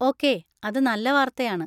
Okay, അത് നല്ല വാർത്തയാണ്.